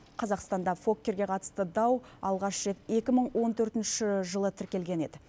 қазақстанда фоккерге қатысты дау алғаш рет екі мың он төртінші жылы тіркелген еді